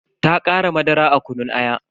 Ta kara madara a kunun ayan.